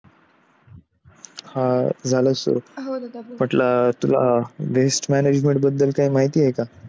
हा झालं सुरू म्हटलं तुला waste management बद्दल काही माहिती आहे का?